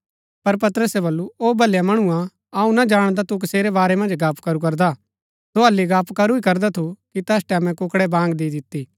पर पतरसे बल्लू ओ भलया मणुआ अऊँ ना जाणदा तू कसेरै बारै मन्ज गप्‍प करू करदा सो हल्ली गप्‍प करू ही करदा थू कि तैस टैमैं कुक्कड़ै बांग दी दिती